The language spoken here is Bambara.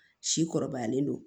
Si kɔrɔbayalen don